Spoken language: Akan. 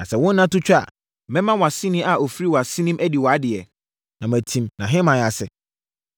Na sɛ wo nna to twa a, mɛma wʼaseni a ɔfiri wʼasenem adi wʼadeɛ, na matim nʼahemman ase.